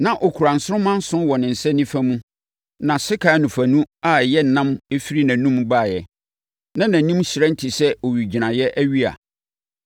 Na ɔkura nsoromma nson wɔ ne nsa nifa mu na sekan anofanu a ɛyɛ nnam firi nʼanom baeɛ. Na nʼanim hyerɛn te sɛ owigyinaeɛ awia.